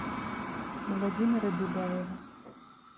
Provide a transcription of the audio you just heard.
владимира беляева